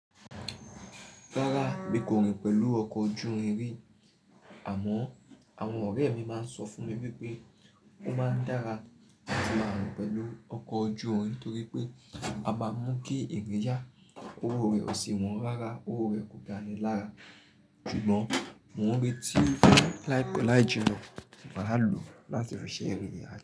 Rára bí i kò rìn pẹ̀lú ọkọ̀ ojú irin, àmọ́ àwọn ọ̀rẹ́ mi máa ń sọ fún mi wípé ó máa ń dára atí máa rìn pẹ̀lú ọkọ̀ ojú irin nítorí pé a máa mú kí èrè ya, owó rẹ ò sì wọn rárá, owó rẹ kò dání lára. Ṣùgbọ́n mò ń retí láì pẹ́ láì jìnnà, ṣùgbọ́n á lò láti ránsẹ́ èrè yẹn.